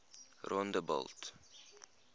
rondebult